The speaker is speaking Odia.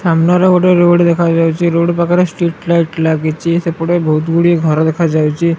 ସାମ୍ନା ରେ ଗୋଟେ ରୋଡ଼ ଦେଖାଯାଉଚି ରୋଡ଼ ପାଖରେ ଷ୍ଟ୍ରୀଟ ଲାଇଟ ଲାଗିଚି ସେପଟେ ବହୁତ ଗୁଡିଏ ଘର ଦେଖାଯାଇଛି।